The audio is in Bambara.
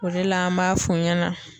O de la an b'a f'u ɲɛna.